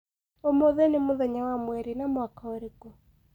ũmũthĩ ni mũthenya wa mwerĩ na mwaka ũrĩkũ